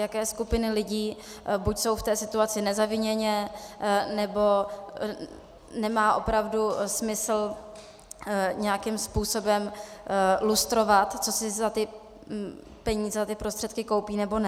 Jaké skupiny lidí, buď jsou v té situaci nezaviněně, nebo nemá opravdu smysl nějakým způsobem lustrovat, co si za ty peníze, za ty prostředky koupí nebo ne.